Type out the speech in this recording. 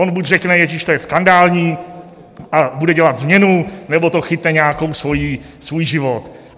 On buď řekne: Ježiš, to je skandální, a bude dělat změnu, nebo to chytne nějaký svůj život.